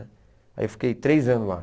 Aí eu fiquei três anos lá.